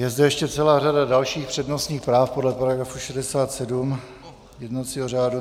Je zde ještě celá řada dalších přednostních práv podle § 67 jednacího řádu.